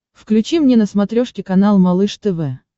включи мне на смотрешке канал малыш тв